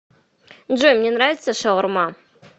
джой мне нравится шаурма